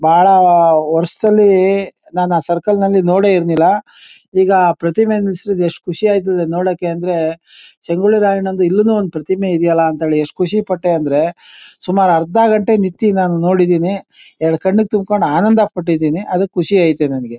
ಬಾಳ ವರ್ಷದಲ್ಲಿ ನಾನು ಆ ಸರ್ಕಲ್ ನಲ್ಲಿ ನೋಡೇ ಇರ್ಲಿಲ್ಲ ಈಗ ಪ್ರತಿಮೆ ನಿಲ್ಸಿದ್ದು ಎಷ್ಟು ಖುಷಿಯಾಗುತ್ತೆ ನೋಡಕ್ಕೆ ಅಂದ್ರೆ ಸಂಗೊಳ್ಳಿ ರಾಯಣ್ಣನದು ಇಲ್ಲಿನೂ ಒಂದು ಪ್ರತಿಮೆ ಇದೆಯಲ್ಲ ಅಂತ ಎಷ್ಟು ಖುಷಿ ಪಟ್ಟೆ ಅಂದ್ರೆ ಸುಮಾರು ಅರ್ಧ ಗಂಟೆ ನಾನು ನಿಂತಿ ನೋಡಿದ್ದೇನೆ ಎರಡು ಕಣ್ಣಿಗ್ ತುಂಬಿಕೊಂಡು ಆನಂದ ಪಟ್ಟಿದ್ದೀನಿ ಅದ್ಕೆ ಖುಷಿ ಐತೆ ನನಗೆ.